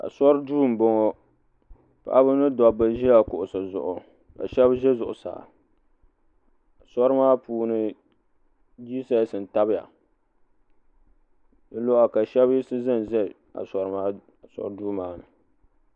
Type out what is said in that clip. Asori duu m boŋɔ paɣaba ni dabba ʒia kuɣusi zuɣu ka sheba ʒɛ zuɣusaa asori maa puuni jises n tabya dizuɣu ka sheba yiɣisi zanza asori duu maani.